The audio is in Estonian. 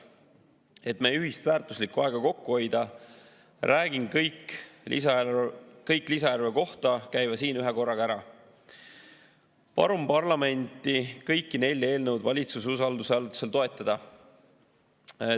Et meie ühist väärtuslikku aega kokku hoida, räägin kõik lisaeelarve kohta käiva siin ühe korraga ära ja palun parlamenti kõiki nelja eelnõu valitsuse usaldushääletusel toetada.